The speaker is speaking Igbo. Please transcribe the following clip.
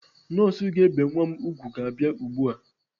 Nọọsụ ga-ebe nwa m ùgwù ga-abia ugbu a.